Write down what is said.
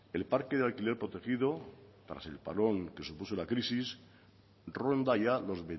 el parque de alquiler protegido tras el parón que supuso la crisis ronda ya los